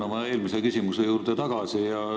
Ma tulen oma eelmise küsimuse juurde tagasi.